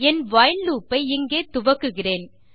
என் while loop ஐ இங்கே துவக்குகிறேன்